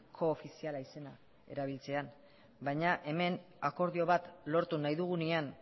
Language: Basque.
koofiziala izena erabiltzea baina hemen akordio bat lortu nahi dugunean